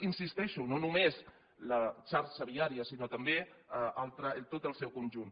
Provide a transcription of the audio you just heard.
hi insisteixo no només la xarxa viària sinó també tot el seu conjunt